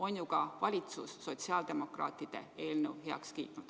On ju ka valitsus sotsiaaldemokraatide eelnõu heaks kiitnud.